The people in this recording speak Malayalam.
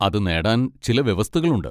അത് നേടാൻ ചില വ്യവസ്ഥകളുണ്ട്.